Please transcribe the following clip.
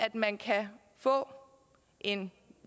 man kan få en